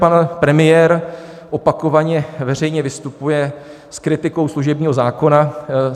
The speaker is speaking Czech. Pan premiér opakovaně veřejně vystupuje s kritikou služebního zákona.